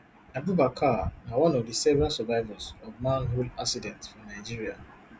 abubakar na one of di several survivors of manhole accident for nigeria